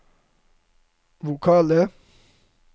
vokale